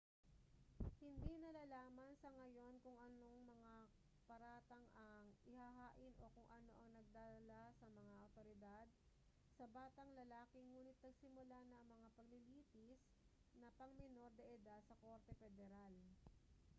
hindi nalalaman sa ngayon kung anong mga paratang ang ihahain o kung ano ang nagdala sa mga awtoridad sa batang lalaki ngunit nagsimula na ang mga paglilitis na pang-menor de edad sa korte pederal